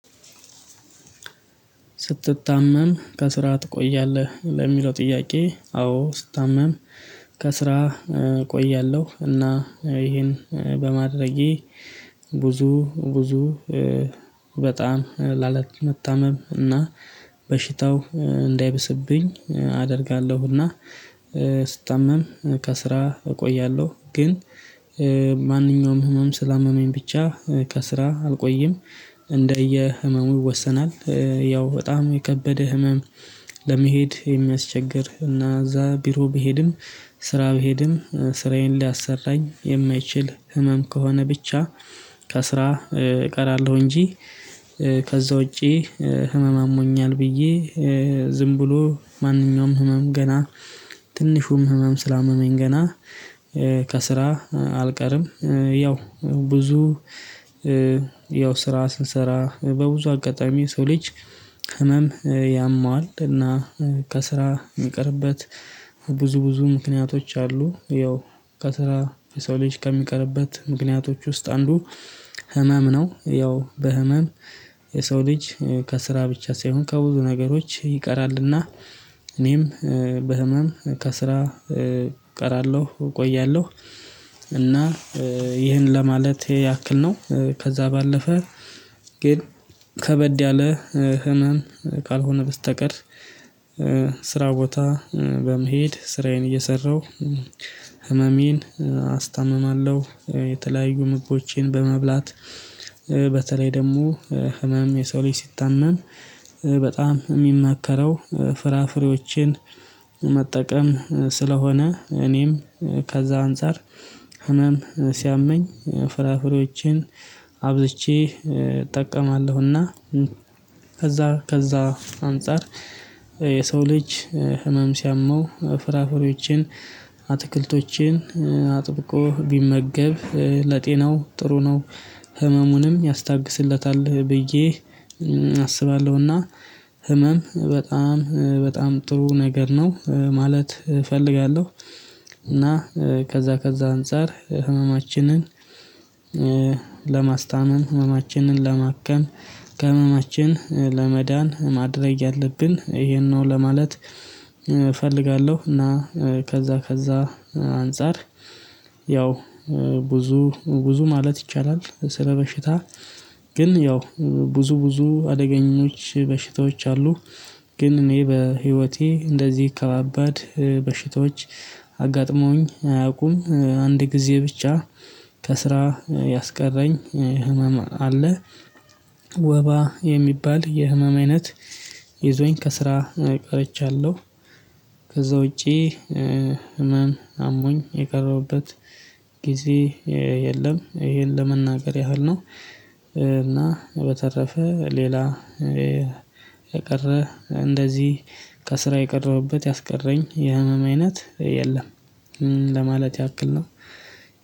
ስትታመም ከስራ ትቆያለህ ለሚለው ጥያቄ? አዎ ስታመም ከስራ እቆያለሁ እና ይሄን በማድረጌ ብዙ ብዙ በጣም ላላመታመም እና በሽታው እንዳይብስብኝ አደርጋለሁ። እና ስታመም ከስራ እቆያለሁ። ግን ማንኛውም ህመም ስላመመኝ ብቻ ከስራ አልቆይም እንደየ ህመሙ ይወሰናል። ያው በጣም የከበደ ህመም ለመሄድ የሚያስቸግር እና እዛ ቢሮ ቢሄድም ስራ ቢሄድም ስራዬን ሊያሰራኝ የማይችል ህመም ከሆነ ብቻ ከስራ እቀራለሁ። እንጂ ከዛ ውጪ ህመም አሞኛል ብዬ ዝም ብሎ ማንኛውም ህመም ገና ትንሹም ህመም ስላመመኝ ገና ከስራ አልቀርም። ያው ብዙ ያው ስራ ስንሰራ በብዙ አጋጣሚ ሰው ልጅ ህመም ያመዋል እና ከስራ የሚቀርበት ብዙ ብዙ ምክንያቶች አሉ። ያው ከስራ የሰው ልጅ ከሚቀርበት ምክንያቶች ውስጥ አንዱ ህመም ነው። ያው በህመም የሰው ልጅ ከስራ ብቻ ሳይሆን ከብዙ ነገሮች ይቀራልና። እኔም በህመም ከስራ እቀራለሁ እቆያለሁ። እና ይህን ለማለት ያክል ነው። ከዛ ባለፈ ግን ከበድ ያለ ህመም ካልሆነ በስተቀር። ስራ ቦታ በመሄድ ስራዬን እየሰራሁ ህመሜን አስታምማለሁ። የተለያዩ ምግቦችን በመብላት በተለይ ደግሞ ህመም የሰው ልጅ ሲታመን በጣም የሚመከረው ፍራፍሬዎችን መጠቀም ስለሆነ እኔም ከዛ አንፃር ህመም ሲያመኝ ፍራፍሬዎችን አብዝቼ እጠቀማለሁና። ከዛ ከዛ አንፃር የሰው ልጅ ህመም ሲያመው ፍራፍሬዎችን አትክልቶችን አጥብቆ ቢመገብ ለጤናው ጥሩ ነው። ህመሙንም ያስታግስለታል ብዬ አስባለሁና ህመም በጣም በጣም ጥሩ ነገር ነው ማለት እፈልጋለሁ። እና ከዛ ከዛ አንፃር ህመማችንን ለማስታመም ህመማችንን ለማከም ከህመማችን ለመዳን ማድረግ ያለብን ይሄን ነው ለማለት እፈልጋለሁ። እና ከዛ ከዛ አንፃር ያው ብዙ ብዙ ማለት ይቻላል። ስለበሽታ ግን ያው ብዙ ብዙ አደገኞች በሽታዎች አሉ። ግን እኔ በህይወቴ እንደዚህ ከባባድ በሽታዎች አጋጥመዉኝ አያውቁም። አንድ ጊዜ ብቻ ከስራ ያስቀረኝ ህመም አለ። ወባ የሚባል የህመም አይነት ይዞኝ ከስራ ቀርቻለሁ። ከዛ ውጪ እመም አሞኝ የቀረሁበት ጊዜ የለም። ይሄን ለመናገር ያህል ነው። እና በተረፈ ሌላ የቀረ እንደዚህ ከስራ የቀረዉበት ያስቀረኝ የህመም አይነት የለም። ለማለት ያክል ነው።